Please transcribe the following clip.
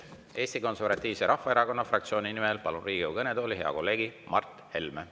Palun Eesti Konservatiivse Rahvaerakonna fraktsiooni nimel Riigikogu kõnetooli hea kolleegi Mart Helme.